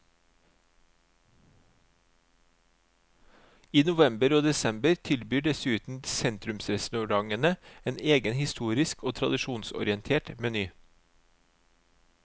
I november og desember tilbyr dessuten sentrumsrestaurantene en egen historisk og tradisjonsorientert meny.